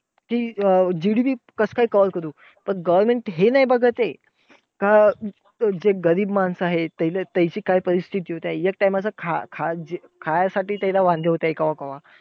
कि GDP अं कासकाय cover करू. पण government हे नाही बघत आहे, का जे गरीब माणसं आहे त्यांचे काय परिस्थिती आहे. एक time चं खा~ खा` खाण्यासाठी त्याला वांदे होतंय केव्हा केव्हा.